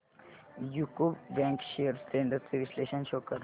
UCO bank shares trends चे विश्लेषण show कर